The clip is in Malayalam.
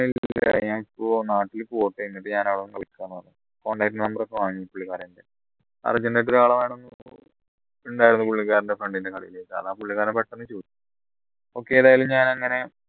ഇപ്പൊ നാട്ടിലെ പോട്ടെ എന്നിട്ട് ഞാൻ അവിടുന്ന് വിളിക്കാന്ന് പറഞ്ഞു contact number ഒക്കെ വാങ്ങി പുള്ളിക്കാരൻ ഉണ്ടായിരുന്നു പുള്ളിക്കാരന്റെ friend ന്റെ കടയിൽ okay ഏതായാലും ഞാൻ അങ്ങനെ